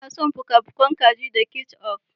Ina son fuka-fukan kaji da ketchup.